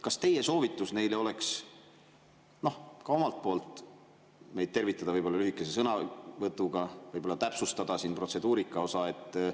Kas teie soovitus neile oleks ka omalt poolt meid tervitada võib-olla lühikese sõnavõtuga, võib-olla täpsustada siin protseduurika osa?